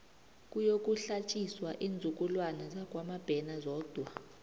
kuyokuhlatjiswa iinzukulwana zakwamabena zodwa